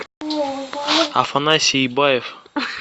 афанасий ибаев